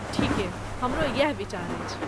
ठीके, हमरो यैह विचार अछि।